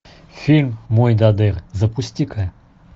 фильм мойдодыр запусти ка